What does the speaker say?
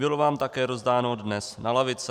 Bylo vám také rozdáno dnes na lavice.